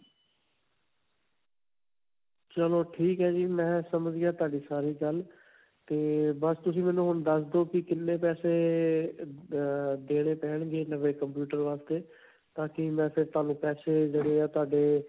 ਚਲੋ ਠੀਕ ਹੈ ਜੀ. ਮੈਂ ਸਮਝ ਗਿਆ ਤੁਹਾਡੀ ਸਾਰੀ ਗੱਲ ਤੇ ਬਸ ਤੁਸੀਂ ਮੈਨੂੰ ਹੁਣ ਦਸ ਦੋ ਕਿ ਕਿੰਨੇ ਪੈਸੇ ਅਅ ਦਦ ਦੇਣੇ ਪੈਣਗੇ ਨਵੇਂ computer ਵਾਸਤੇ ਤਾਂਕਿ ਮੈਂ ਫਿਰ ਤੁਹਾਨੂੰ ਪੈਸੇ ਜਿਹੜੇ ਹੈ ਤੁਹਾਡੇ.